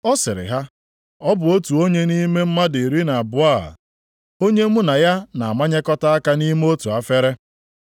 Ọ sịrị ha, “Ọ bụ otu onye nʼime mmadụ iri na abụọ a. Onye mụ na ya na-amanyekọta aka nʼime otu efere.